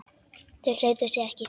Þau hreyfðu sig ekki.